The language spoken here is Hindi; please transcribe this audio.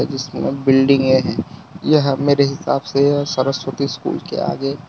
जिसमें यह बिल्डिंगे है यह मेरे हिसाब से सरस्वती स्कूल के आगे --